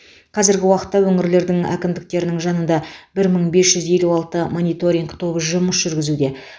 қазіргі уақытта өңірлердің әкімдіктерінің жанында бір мың бес жүз елу алты мониторинг тобы жұмыс жүргізуде